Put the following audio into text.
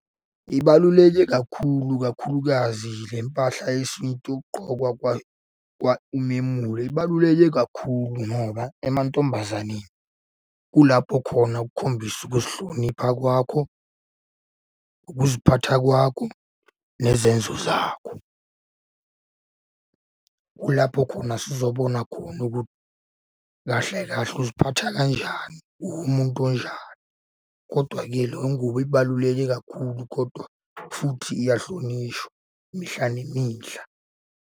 Ibaluleke kakhulu kakhulukazi le mpahla yesintu yokugqokwa umemulo. Ibaluleke kakhulu ngoba emantombazaneni kulapho khona ukukhombisa ukuzihlonipha kwakho, ukuziphatha kwakho, nezenzo zakho. Kulapho khona sizobona khona ukuthi kahle kahle uziphatha kanjani, uwumuntu onjani, kodwa-ke leyo ngubo ibaluleke kakhulu kodwa futhi iyahlonishwa imihla nemihla.